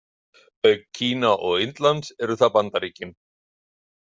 Auk Kína og Indlands eru það Bandaríkin.